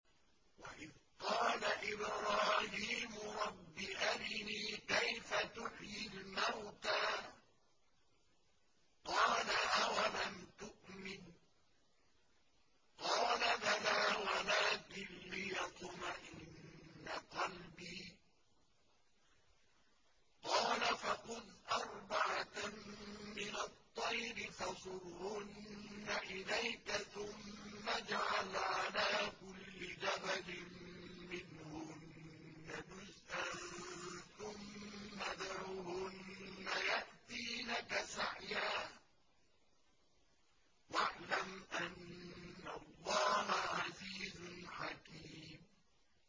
وَإِذْ قَالَ إِبْرَاهِيمُ رَبِّ أَرِنِي كَيْفَ تُحْيِي الْمَوْتَىٰ ۖ قَالَ أَوَلَمْ تُؤْمِن ۖ قَالَ بَلَىٰ وَلَٰكِن لِّيَطْمَئِنَّ قَلْبِي ۖ قَالَ فَخُذْ أَرْبَعَةً مِّنَ الطَّيْرِ فَصُرْهُنَّ إِلَيْكَ ثُمَّ اجْعَلْ عَلَىٰ كُلِّ جَبَلٍ مِّنْهُنَّ جُزْءًا ثُمَّ ادْعُهُنَّ يَأْتِينَكَ سَعْيًا ۚ وَاعْلَمْ أَنَّ اللَّهَ عَزِيزٌ حَكِيمٌ